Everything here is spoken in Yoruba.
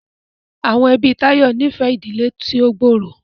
Awọn ẹbi Tayo ní fẹ ìdílé tí o gbooro.